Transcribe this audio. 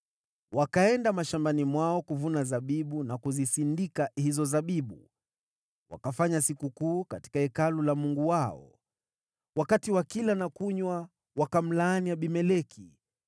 Wakaenda mashambani mwao kuvuna zabibu na kuzisindika hizo zabibu, wakafanya sikukuu katika hekalu la mungu wao. Wakati wakila na kunywa, wakamlaani Abimeleki.